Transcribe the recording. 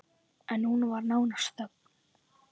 En nú var nánast þögn!